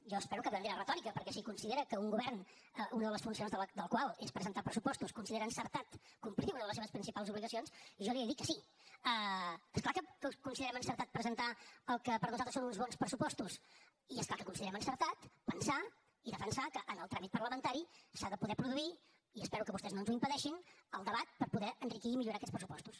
jo espero que de manera retòrica perquè si considera que un govern una de les funcions del qual és presentar pressupostos considera encertat complir una de les seves principals obligacions jo li he de dir que sí és clar que considerem encertat presentar el que per nosaltres són uns bons pressupostos i és clar que considerem encertat pensar i defensar que en el tràmit parlamentari s’ha de poder produir i espero que vostès no ens ho impedeixin el debat per poder enriquir i millorar aquests pressupostos